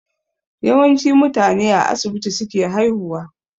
Yawanci mutane a asibiti suke haihuwa